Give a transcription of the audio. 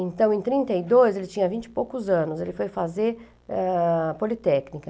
Então, em trinta e dois, ele tinha vinte e poucos anos, ele foi fazer ah... Politécnica.